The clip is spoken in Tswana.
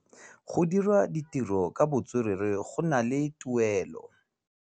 Go dira ditirô ka botswerere go na le tuelô.